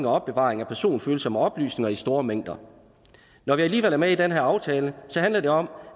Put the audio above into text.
og opbevaring af personfølsomme oplysninger i store mængder når vi alligevel er med i den her aftale handler det om